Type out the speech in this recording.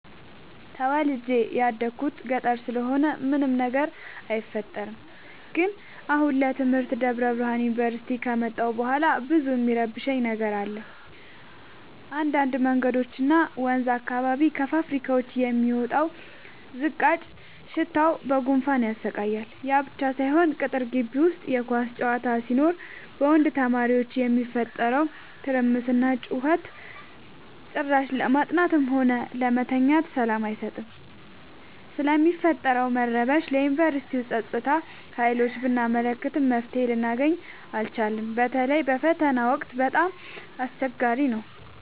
ተወልጄ የደኩት ገጠር ስለሆነ ምንም ችግር አይፈጠርም። ግን አሁን ለትምህርት ደብረብርሃን ዮንቨርሲቲ ከመጣሁ በኋላ ብዙ እሚረብሽ ነገር አለ እንዳድ መንገዶች እና ወንዝ አካባቢ ከፋብካዎች የሚወጣው ዝቃጭ ሽታው በጉንፋን ያሰቃያል። ያብቻ ሳይሆን ቅጥር ጊቢ ውስጥ የኳስ ጨዋታ ሲኖር በወንድ ተማሪዎች የሚፈጠረው ትርምስና ጩኸት ጭራሽ ለማጥናትም ሆነ ለመተኛት ሰላም አይሰጥም። ስለሚፈጠረው መረበሽ ለዮንቨርስቲው ፀጥታ ሀይሎች ብናመለክትም መፍትሔ ልናገኝ አልቻልም። በተለይ በፈተና ወቅት በጣም አስቸገሪ ነው።